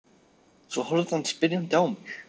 Svo horfði hann spyrjandi á mig.